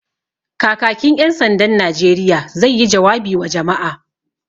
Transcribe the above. Kakakin ƴan sandan Najeriya zai yi jawabi wa jama'a